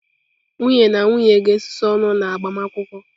Nwunye na nwunye ga-esusu ọnụ na agbamakwụkwọ.